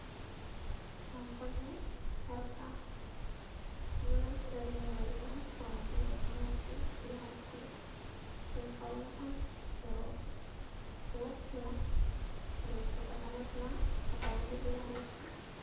Yan kunne, sarƙa, ɗum ɗo naftira be maajum on haa watugo ɗum on haa noppi bee haa daande, ɗum faune on je rooɓe, ɗo wo'ina ɗebbo takanas maa Haa daande, be haa noppi.